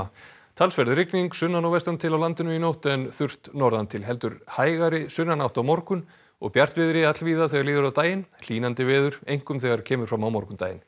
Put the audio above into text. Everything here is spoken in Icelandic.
talsverð rigning sunnan og vestan til á landinu í nótt en þurrt norðan til heldur hægari sunnanátt á morgun og bjartviðri allvíða þegar líður á daginn hlýnandi veður einkum þegar kemur fram á morgundaginn